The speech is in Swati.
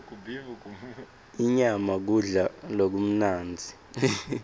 inyama kudla lokumnandzi